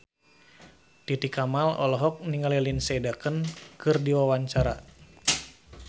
Titi Kamal olohok ningali Lindsay Ducan keur diwawancara